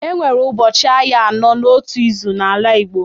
E nwere ụbọchị ahịa anọ n’otu izu n’ala Igbo.